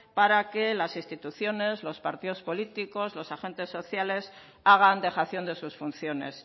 para que las instituciones los partidos políticos los agentes sociale hagan dejación de sus funciones